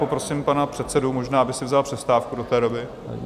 Poprosím pana předsedu, možná by si vzal přestávku do té doby.